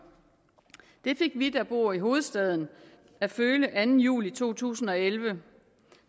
det fik vi der bor i hovedstaden at føle den anden juli to tusind og elleve